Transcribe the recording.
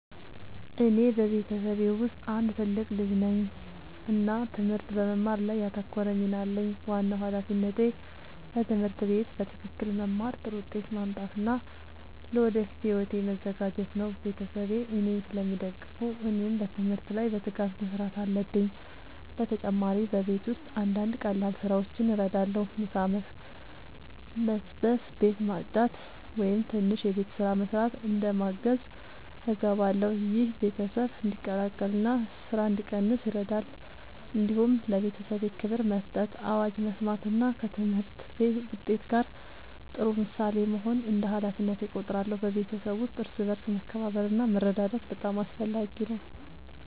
እኔ በቤተሰቤ ውስጥ አንድ ትልቅ ልጅ ነኝ እና ትምህርት በመማር ላይ ያተኮረ ሚና አለኝ። ዋናው ሃላፊነቴ በትምህርት ቤት በትክክል መማር፣ ጥሩ ውጤት ማምጣት እና ለወደፊት ሕይወቴ መዘጋጀት ነው። ቤተሰቤ እኔን ስለሚደግፉ እኔም በትምህርት ላይ በትጋት መስራት አለብኝ። በተጨማሪ በቤት ውስጥ አንዳንድ ቀላል ስራዎችን እረዳለሁ። ምሳ መስበስ፣ ቤት ማጽዳት ወይም ትንሽ የቤት ስራ መስራት እንደ ማገዝ እገባለሁ። ይህ ቤተሰብ እንዲቀላቀል እና ስራ እንዲቀንስ ይረዳል። እንዲሁም ለቤተሰቤ ክብር መስጠት፣ አዋጅ መስማት እና ከትምህርት ውጤት ጋር ጥሩ ምሳሌ መሆን እንደ ሃላፊነቴ እቆጥራለሁ። በቤተሰብ ውስጥ እርስ በርስ መከባበር እና መረዳዳት በጣም አስፈላጊ ነው።